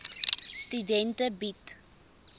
studente bied